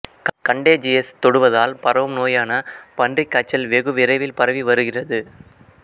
contagious தொடுவதால் பரவும் நோயான பன்றிக் காய்ச்சல் வெகு விரைவில் பரவி வருகிறது